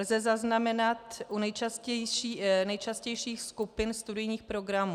Lze zaznamenat u nejčastějších skupin studijních programů.